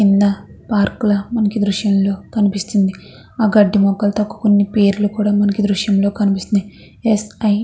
కింద పార్కు ల మనకి దృశ్యం లో కనిపిస్తుంది. ఆ గడ్డి మొక్కలు తోని పేర్లు కూడా మనకి దృశ్యంలో కనిపిస్తున్నాయి. స్ ఐ --